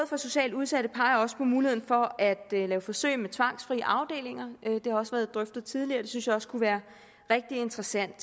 for socialt udsatte peger også på muligheden for at lave forsøg med tvangsfrie afdelinger det har også været drøftet tidligere og det synes jeg også kunne være rigtig interessant